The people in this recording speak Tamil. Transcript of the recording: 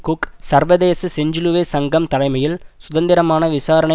குக் சர்வதேச செஞ்சிலுவை சங்கம் தலைமையில் சுதந்திரமான விசாரணை